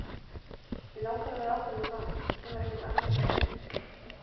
Mig langar að vera áfram hjá Val, það kemur ekkert annað til greina.